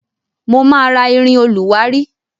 Mo ma rà ìrìn olùwárí.